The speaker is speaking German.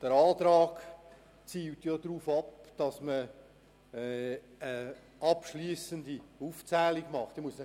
Der Antrag zielt darauf ab, dass eine abschliessende Aufzählung vorgenommen wird.